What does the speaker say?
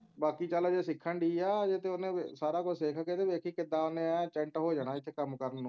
ਬਾਕੀ ਚਲ ਹਜੇ ਸਿੱਖਣ ਡੇਈ ਹੈ ਹਜੇ ਤੇ ਉਹਨੇ ਸਾਰਾ ਕੁਝ ਸਿੱਖਕੇ ਤਾਂ ਵੇਖੀ ਕਿੱਦਾਂ ਓਹਨੇ ਐਂ ਚੈਂਟ ਹੋ ਜਾਣਾ ਇਥੇ ਕੰਮ ਕਰਣ ਨੂੰ